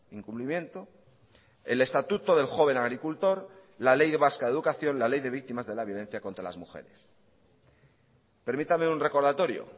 incumplimiento el estatuto del joven agricultor la ley vasca de educación la ley de víctimas de la violencia contra las mujeres permítame un recordatorio